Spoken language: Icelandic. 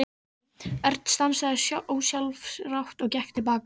Örn stansaði ósjálfrátt og gekk til baka.